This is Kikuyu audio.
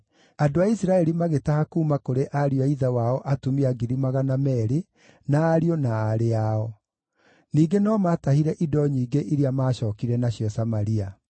Andũ a Isiraeli magĩtaha kuuma kũrĩ ariũ a ithe wao atumia 200,000 na ariũ na aarĩ ao. Ningĩ no maatahire indo nyingĩ iria maacookire nacio Samaria.